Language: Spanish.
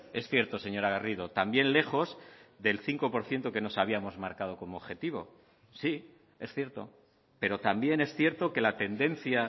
es cierto señora garrido también lejos del cinco por ciento que nos habíamos marcado como objetivo sí es cierto pero también es cierto que la tendencia